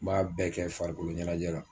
M'a bɛɛ kɛ farikolo ɲɛnajɛ la.